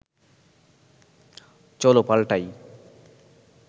চলো পাল্টাই